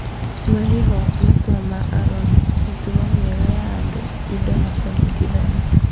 Marĩho, matua ma arori, mĩtugo mĩega ya andũ, indo na kũnyitithania.